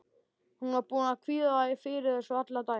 Hún var búin að kvíða fyrir þessu allan daginn.